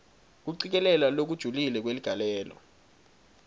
kucikelela lokujulile kweligalelo